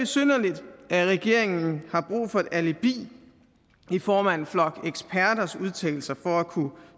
det er at regeringen har brug for et alibi i form af en flok eksperters udtalelser for at kunne